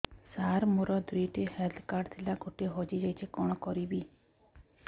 ସାର ମୋର ଦୁଇ ଟି ହେଲ୍ଥ କାର୍ଡ ଥିଲା ଗୋଟେ ହଜିଯାଇଛି କଣ କରିବି